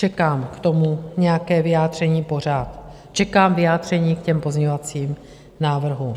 Čekám k tomu nějaké vyjádření pořád, čekám vyjádření k těm pozměňovacím návrhům.